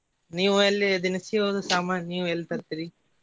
ನೀವ್ ಅಲ್ಲಿ ದಿನಸಿವದು ಸಾಮಾನ್ ನೀವ್ ಎಲ್ಲಿ ತರ್ತೆರಿ?